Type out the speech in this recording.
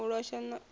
u losha a u fhiri